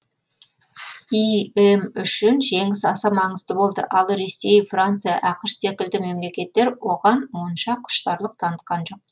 им үшін жеңіс аса маңызды болды ал ресей франция ақш секілді мемлекеттер оған онша құштарлық танытқан жоқ